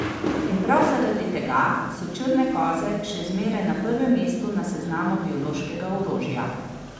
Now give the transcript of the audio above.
In prav zaradi tega so črne koze še zmeraj na prvem mestu na seznamu biološkega orožja.